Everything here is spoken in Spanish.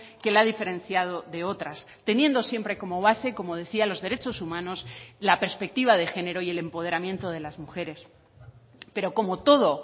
que la ha diferenciado de otras teniendo siempre como base como decía los derechos humanos la perspectiva de género y el empoderamiento de las mujeres pero como todo